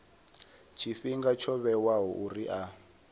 tshifhinga tsho vhewaho uri a